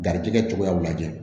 Garijɛgɛ cogoyaw lajɛ